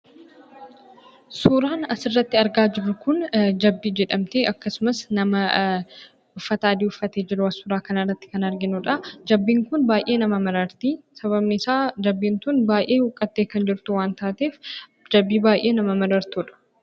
Suuraan asirratti argaa jirru kun jabbii jedhamti. Akkasumas, nama uffata adii uffatee jiru suuraa kana irratti kan arginuu dha. Jabbiin kun baay'ee nama mararti. Sababni isaa, jabbiin tun baay'ee huqqattee kan jirtu waan taateef, jabbii baay'ee nama marartu dha.